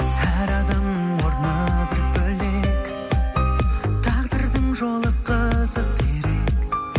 әр адамның орны бір бөлек тағдырдың жолы қызық дерек